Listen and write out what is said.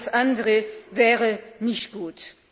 Alles andere wäre nicht gut.